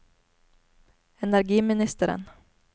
energiministeren